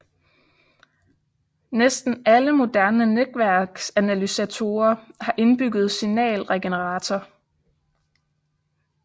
Næsten alle moderne netværksanalysatorer har indbygget signalgenerator